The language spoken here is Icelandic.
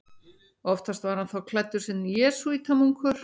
Oftast var hann þá klæddur sem jesúítamunkur.